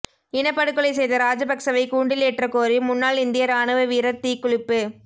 இனப்படுகொலை செய்த ராஜபக்சவை கூண்டிலேற்றக் கோரி முன்னாள் இந்திய இராணுவ வீரர் தீக்குளிப்பு